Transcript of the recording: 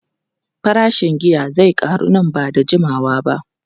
Farashin giya zai karu nan ba da jimawa ba.